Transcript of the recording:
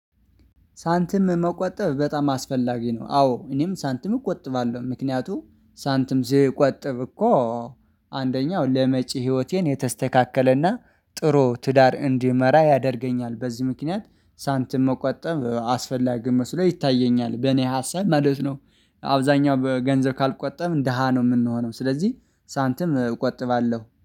ሳንትም መቆጠብ በጣም አስፈላጊ ነው። አዎ እኔም ሳንትም እቆጥባለሁ ምክንያቱ ሳንትም ስትቆጥብ እኮ አንደኛው ለመጪ ህይወቴን የተስተካከለና ጥሩ ትዳር እንዲመራ ያደርገኛል። በዚህ ምክንያት ሳንትም መቆጠብ አስፈላጊ መስሎ ይታየኛል በኔ ሀሳብ ማለት ነው። አብዛኛው በገንዘብ ካልቆጠብን ደሃ ነው የምንሆነው ስለዚህ ሳንትም እቆጥባለሁ